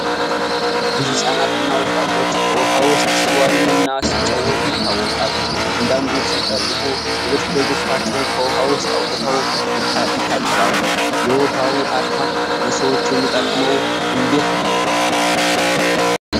ብዙ ህጻናት እና ወጣቶች በውሃ ውስጥ ሲዋኙ እና ሲጫወቱ ይታወቃሉ። አንዳንዶቹ ሲጠልቁ ሌሎቹ ደግሞ ፊታቸውን ከውሃ ውስጥ አውጥተው ይታጠባሉ። የውሃው አካል ለሰዎች የሚጠቅመው እንዴት ነው?